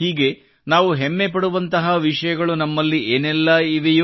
ಹೀಗೆ ನಾವು ಹೆಮ್ಮೆ ಪಡುವಂತಹ ವಿಷಯಗಳು ನಮ್ಮಲ್ಲಿ ಏನೆಲ್ಲಾ ಇವೆಯೋ